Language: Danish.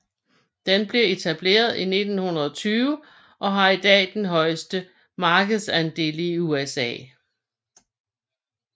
Den blev etableret i 1920 og har i dag den højeste markedsandel i USA